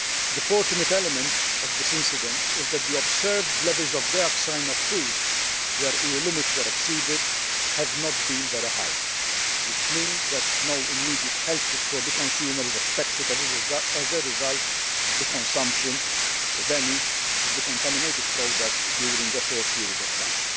The fortunate element of this incident is that the observed levels of dioxin in food where EU limits were exceeded have not been very high, which means that no immediate health risk for the consumer is expected as a result of the consumption, if any, of the contaminated products during a short period of time.